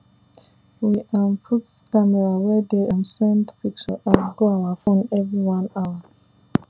we um put camera wey dey um send picture um go our phone every one hour